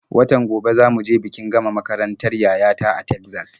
Watan gobe za mu je bikin gama makarantar yaya ta a Tegzas.